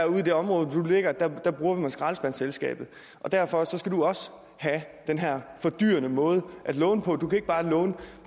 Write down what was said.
det område hvor det ligger bruger man skraldespandsselskabet og derfor skal du også have den her fordyrende måde at låne på du kan ikke bare låne